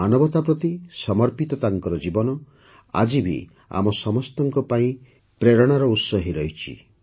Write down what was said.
ମାନବତା ପ୍ରତି ସମର୍ପିତ ତାଙ୍କର ଜୀବନ ଆଜି ବି ଆମ ସମସ୍ତଙ୍କ ପାଇଁ ପ୍ରେରଣାର ଉତ୍ସ ହୋଇରହିଛନ୍ତି